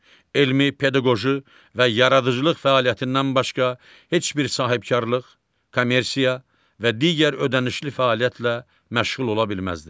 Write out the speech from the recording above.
Elmi, pedaqoji və yaradıcılıq fəaliyyətindən başqa heç bir sahibkarlıq, kommersiya və digər ödənişli fəaliyyətlə məşğul ola bilməzlər.